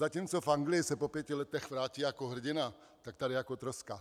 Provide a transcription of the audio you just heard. Zatímco v Anglii se po pěti letech vrátí jako hrdina, tak tady jako troska.